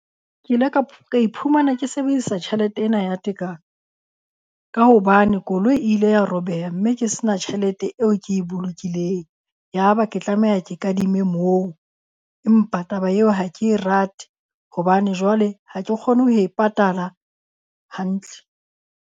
Ke ile ka ka iphumana ke sebedisa tjhelete ena ya tekano, ka hobane koloi e ile ya robeha, mme ke se na tjhelete eo ke e bolokileng. Yaba ke tlameha ke kadime moo. Empa taba eo ha ke e rate hobane jwale ha ke kgone ho e patala hantle.